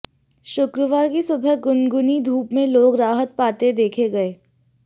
शुक्रवार की सुबह गुनगुनी धूप में लोग राहत पाते देखे गए